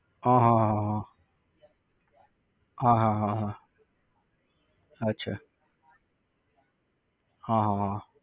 હા હા હા. હા હા હા હા. અચ્છા. હા હા હા.